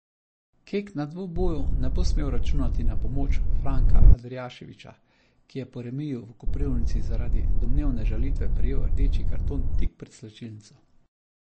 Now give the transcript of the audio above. Kek na dvoboju ne bo smel računati na pomoč Franka Andrijaševića, ki je po remiju v Koprivnici zaradi domnevne žalitve prejel rdeči karton tik pred slačilnico.